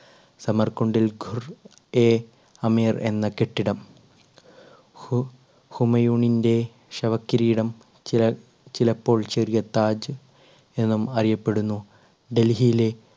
സമർകുണ്ടിൽ Gur e Amir എന്ന കെട്ടിടം ഹു~ഹുമയൂണിന്റെ ശവകിരീടം ചില~ചിലപ്പോൾ ചെറിയ താജ് എന്നും അറിയപ്പെടുന്നു. ഡൽഹിയിലെ